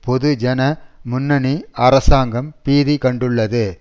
பொது ஜன முன்னணி அரசாங்கம் பீதி கண்டுள்ளது